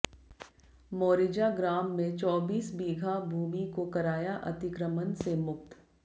मोरिजा ग्राम में चौबीस बीघा भूमि को कराया अतिक्रमण से मुक्त